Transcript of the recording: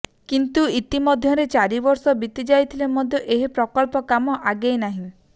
କିନ୍ତୁ ଇତି ମଧ୍ୟରେ ଚାରି ବର୍ଷ ବିତି ଯାଇଥିଲେ ମଧ୍ୟ ଏହି ପ୍ରକଳ୍ପ କାମ ଆଗେଇ ନାହିଁ